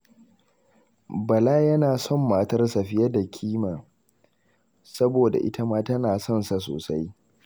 Bala yana son matarsa fiye da kima, saboda ita ma tana son sa sosai.